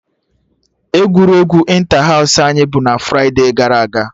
Egwuregwu Ịntahaụsụ anyị bụ na fride gara aga